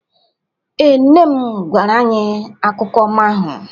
Ee, Nne m gwara anyị akụkọ ọma ahụ